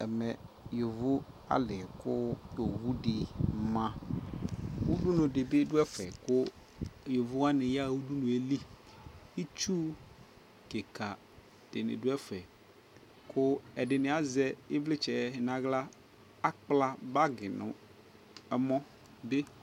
Ɛmɛ yovo ale koowu de maUdunu de be do ɛfɛ ko yovo wane yaha udunue li Itsu kika de ne do ɛfɛ ko ɛde ne azɛ evletsɛ nahla, akpla bagi no ɛmɔ be